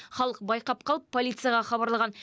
халық байқап қалып полицияға хабарлаған